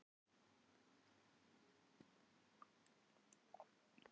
Vestmar, hvað er opið lengi á föstudaginn?